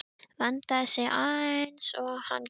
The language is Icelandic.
Vandaði sig eins og hann gat.